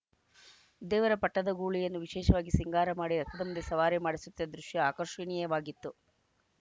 ದೇವರ ಪಟ್ಟದ ಗೂಳಿಯನ್ನು ವಿಶೇಷವಾಗಿ ಸಿಂಗಾರ ಮಾಡಿ ರಥದ ಮುಂದೆ ಸವಾರಿ ಮಾಡಿಸುತ್ತಿದ್ದ ದೃಶ್ಯ ಆಕರ್ಷಿಣಿಯವಾಗಿತ್ತು